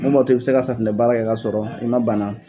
Mun b'a to i be se ka safinɛbaara kɛ ka sɔrɔ i ma bana